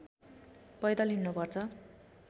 पैदल हिँड्नुपर्छ